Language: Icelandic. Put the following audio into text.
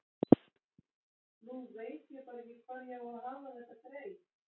Nú veit ég bara ekki hvar ég á að hafa þetta grey.